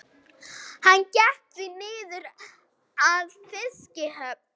Hann gekk því niður að fiskihöfn.